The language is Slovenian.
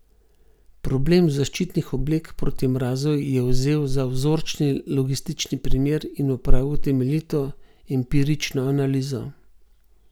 Problem zaščitnih oblek proti mrazu je vzel za vzorčni logistični primer in opravil temeljito empirično analizo.